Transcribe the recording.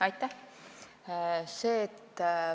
Aitäh!